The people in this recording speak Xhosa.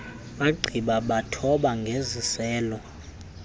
bagqiba bathoba ngeziselo